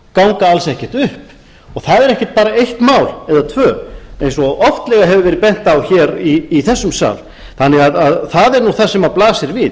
ganga alls ekkert upp það er ekkert eitt mál eða tvö eins og oftlega hefur verið bent á hér í þessum sal þannig að það er nú það sem blasir við